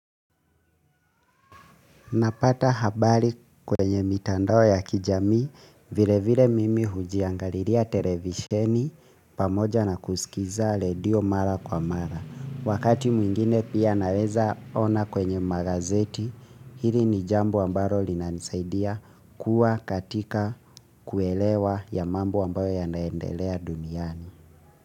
Napata habari kwenye mitandao ya kijamii, vile vile mimi hujiangaliria televisheni pamoja na kusikiza radio mara kwa mara. Wakati mwingine pia naweza ona kwenye magazeti hili ni jambo ambaro linanisaidia kuwa katika kuelewa ya mambo ambayo yanaendelea duniani.